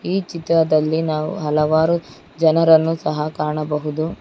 ಈ ಚಿತ್ರದಲ್ಲಿ ನಾವು ಹಲವಾರು ಜನರನ್ನು ಸಹ ಕಾಣಬಹುದು.